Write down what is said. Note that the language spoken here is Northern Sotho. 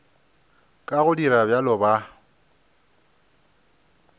ka go dira bjalo ba